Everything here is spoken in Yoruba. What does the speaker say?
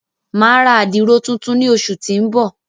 Mà a ra àdiro tùntùn ni óṣu ti n bọ.